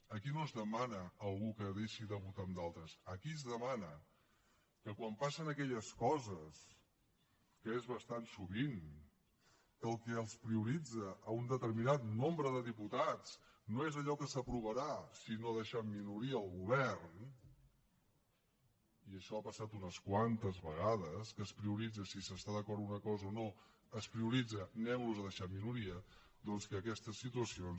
aquí no es demana a algú que deixi de votar amb d’altres aquí es demana que quan passen aquelles coses que és bastant sovint que el que prioritzen un determinat nombre de diputats no és allò que s’aprovarà sinó deixar en minoria el govern i això ha passat unes quantes vegades que no es prioritza si s’està d’acord en una cosa o no es prioritza aneu los a deixar en minoria doncs que aquestes situacions